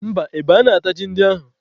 Mba, ebe anaghị atazị ji ndị ahụ.